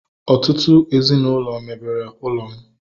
Ọtụtụ ezinaụlọ mebere ụlọ m